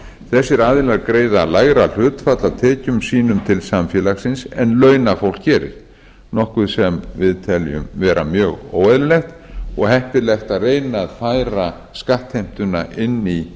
þessir aðilar greiða lægra hlutfall af tekjum sínum til samfélagsins en launafólk gerir nokkuð sem við teljum vera mjög óeðlilegt og heppilegt að reyna að færa skattheimtuna inn í